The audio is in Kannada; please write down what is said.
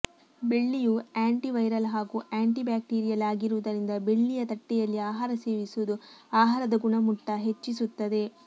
ಬೆಳ್ಳಿಯು ಆ್ಯಂಟಿ ವೈರಲ್ ಹಾಗೂ ಆ್ಯಂಟಿ ಬ್ಯಾಕ್ಟೀರಿಯಲ್ ಆಗಿರುವುದರಿಂದ ಬೆಳ್ಳಿಯ ತಟ್ಟೆಯಲ್ಲಿ ಆಹಾರ ಸೇವಿಸುವುದು ಆಹಾರದ ಗುಣಮಟ್ಟ ಹೆಚ್ಚಿಸುತ್ತದೆ